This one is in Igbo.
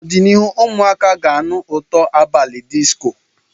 N'ọdịnihu, ụmụ akwụkwọ ga-anụ ụtọ abalị disco.